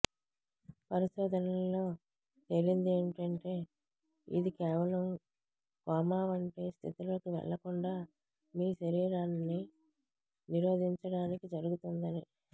పరిశోధనలలో తేలిందేమంటే ఇది కేవలం కోమావంటి స్థితిలోకి వెళ్ళకుండా మీ శరీరాన్నినిరోధించడానికి జరుగుతుందని